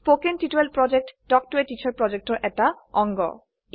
কথন শিক্ষণ প্ৰকল্প তাল্ক ত a টিচাৰ প্ৰকল্পৰ এটা অংগ